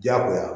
Diyagoya